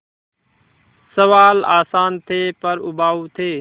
सवाल आसान थे पर उबाऊ थे